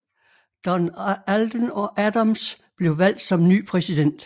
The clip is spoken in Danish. Don Alden Adams blev valgt som ny præsident